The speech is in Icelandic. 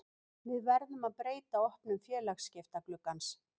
Við verðum að breyta opnun félagsskiptagluggans.